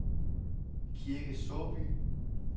Kirke Såby